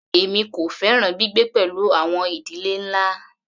Èmi kò fẹ́ràn gbígbé pẹ̀lú àwọn ìdílé ńlá.